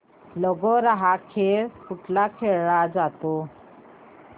लगोर्या हा खेळ कुठे खेळला जातो